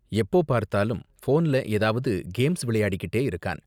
எப்போ பார்த்தாலும் ஃபோன்ல ஏதாவது கேம்ஸ் விளையாடிக்கிட்டே இருக்கான்.